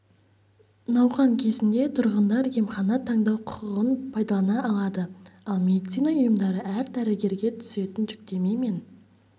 науқан кезінде тұрғындар емхана таңдау құқығын пайдалана алады ал медицина ұйымдары әр дәрігерге түсетін жүктеме мен